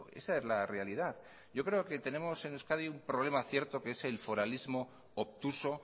esa es la realidad yo creo que tenemos en euskadi un problema cierto que es el foralismo obtuso